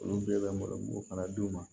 Olu bɛɛ bɛ malo fana d'u ma